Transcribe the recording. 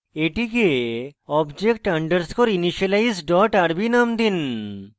এটিকে object underscore initialize dot rb name দিন